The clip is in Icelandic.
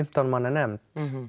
fimmtán manna nefnd